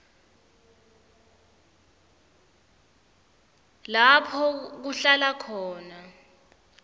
lapho kuhlala khona